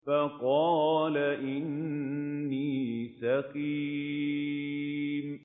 فَقَالَ إِنِّي سَقِيمٌ